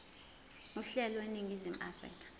uhlelo eningizimu afrika